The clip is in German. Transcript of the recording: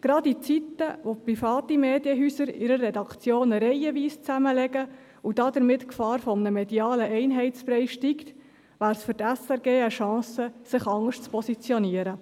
Gerade in Zeiten, wo private Medienhäuser ihre Redaktionen reihenweise zusammenlegen und damit die Gefahr eines medialen Einheitsbreis steigt, wäre es für die SRG eine Chance, sich anders zu positionieren.